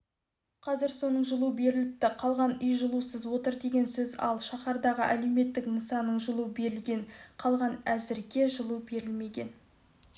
қазір соның жылу беріліпті қалған үй жылусыз отыр деген сөз ал шаһардағы әлеуметтік нысанның жылу берілген қалған әзірге жылу берілмеген